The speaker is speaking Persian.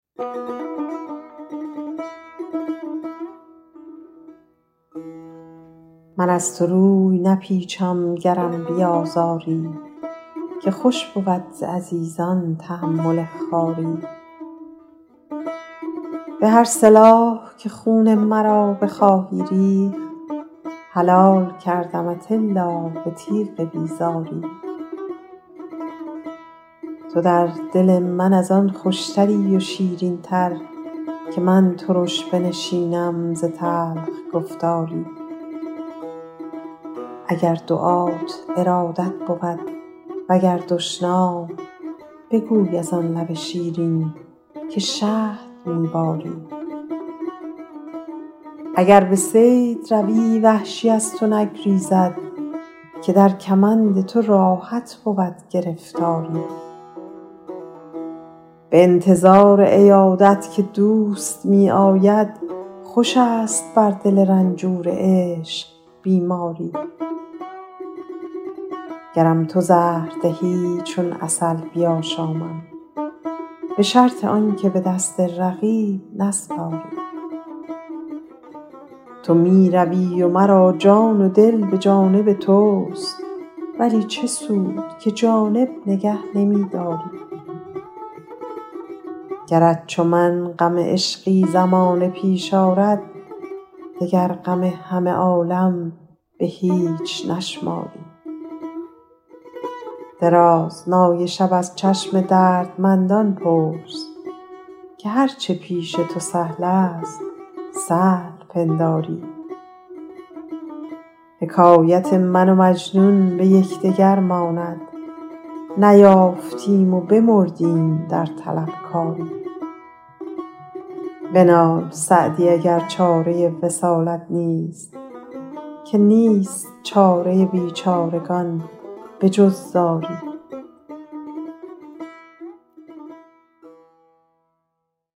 من از تو روی نپیچم گرم بیازاری که خوش بود ز عزیزان تحمل خواری به هر سلاح که خون مرا بخواهی ریخت حلال کردمت الا به تیغ بیزاری تو در دل من از آن خوشتری و شیرین تر که من ترش بنشینم ز تلخ گفتاری اگر دعات ارادت بود و گر دشنام بگوی از آن لب شیرین که شهد می باری اگر به صید روی وحشی از تو نگریزد که در کمند تو راحت بود گرفتاری به انتظار عیادت که دوست می آید خوش است بر دل رنجور عشق بیماری گرم تو زهر دهی چون عسل بیاشامم به شرط آن که به دست رقیب نسپاری تو می روی و مرا چشم و دل به جانب توست ولی چه سود که جانب نگه نمی داری گرت چو من غم عشقی زمانه پیش آرد دگر غم همه عالم به هیچ نشماری درازنای شب از چشم دردمندان پرس که هر چه پیش تو سهل است سهل پنداری حکایت من و مجنون به یکدگر ماند نیافتیم و بمردیم در طلبکاری بنال سعدی اگر چاره وصالت نیست که نیست چاره بیچارگان به جز زاری